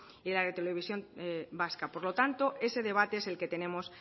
y de la televisión vasca por lo tanto ese debate es el que tenemos